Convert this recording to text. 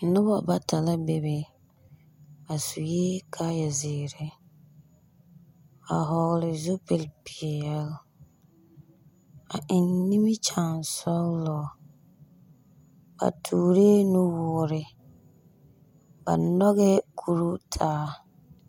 Noba bata la bebe, ba sue kaaya zeere, a vͻgele zupili zeere, a eŋ nimikyaasͻgelͻ. Ba tooree nuwoore, ba nyͻgԑԑ kuruu taa.